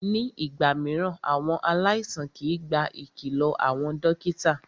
Ní ìgbà mìíràn, àwọn aláìsàn kìí gba ìkìlọ àwọn dókítà.